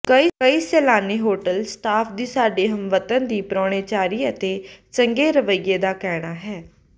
ਕਈ ਸੈਲਾਨੀ hotel staff ਦੀ ਸਾਡੀ ਹਮਵਤਨ ਦੀ ਪਰਾਹੁਣਚਾਰੀ ਅਤੇ ਚੰਗੇ ਰਵੱਈਏ ਦਾ ਕਹਿਣਾ ਹੈ